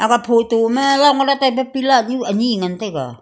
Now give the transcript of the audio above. aga photo ma ngan taiga.